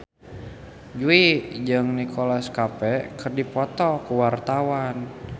Jui jeung Nicholas Cafe keur dipoto ku wartawan